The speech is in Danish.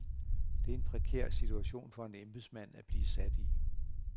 Det er en prekær situation for en embedsmand at blive sat i.